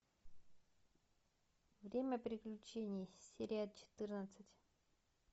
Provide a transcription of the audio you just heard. время приключений серия четырнадцать